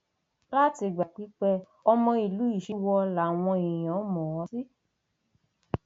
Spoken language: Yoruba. látìgbà pípẹ ọmọ ìlú ìṣíwọ làwọn èèyàn mọ ọn sí